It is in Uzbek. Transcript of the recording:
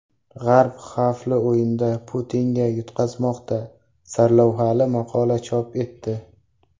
G‘arb xavfli o‘yinda Putinga yutqazmoqda” sarlavhali maqola chop etdi.